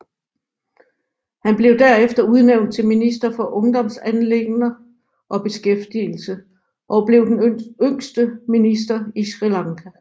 Han blev derefter udnævnt til minister for ungdomsanliggender og beskæftigelse og blev den yngste minister i Sri Lanka